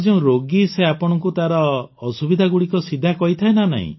ଆଉ ଯେଉଁ ରୋଗୀ ସେ ଆପଣଙ୍କୁ ତାର ଅସୁବିଧାଗୁଡ଼ିକ ସିଧା କହିଥାଏ ନା